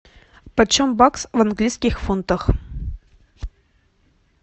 почем бакс в английских фунтах